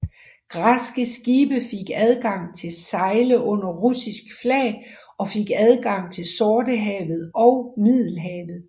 Græske skibe fik adgang til at sejle under russisk flag og fik adgang til Sortehavetog Middelhavet